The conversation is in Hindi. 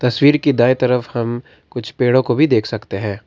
तस्वीर की दाई तरफ हम कुछ पेड़ो को भी देख सकते हैं।